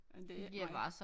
Men det er ikke mig